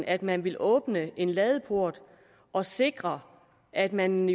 at man ville åbne en ladeport og sikre at man